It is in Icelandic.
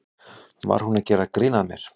Var hún að gera grín að mér?